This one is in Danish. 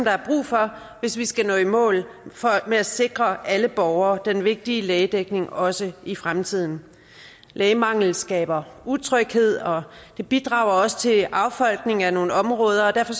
er brug for hvis vi skal nå i mål med at sikre alle borgere den vigtige lægedækning også i fremtiden lægemangel skaber utryghed og det bidrager også til affolkning af nogle områder og derfor